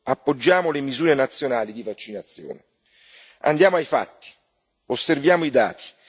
Appoggiamo le misure nazionali di vaccinazione. Andiamo ai fatti, osserviamo i dati.